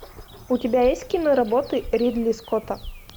у тебя есть киноработы ридли скотта